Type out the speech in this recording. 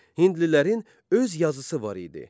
Hindlilərin öz yazısı var idi.